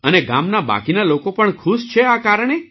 અને ગામના બાકીના લોકો પણ ખુશ છે આ કારણે